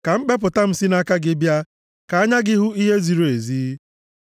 Ka mkpepụta m si nʼaka gị bịa; ka anya gị hụ ihe ziri ezi.